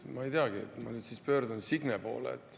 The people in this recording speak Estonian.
Ma ei teagi, ma pöördun nüüd Signe poole.